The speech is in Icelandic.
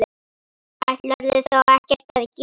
Ætlarðu þá ekkert að gera?